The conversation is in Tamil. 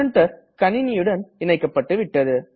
பிரின்டர் கணினியுடன் இணைக்கப்பட்டுவிட்டது